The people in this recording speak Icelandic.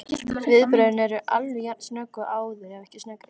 Viðbrögðin eru alveg jafn snögg og áður, ef ekki sneggri.